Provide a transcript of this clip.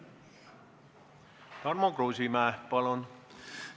Tarmo Kruusimäe, palun!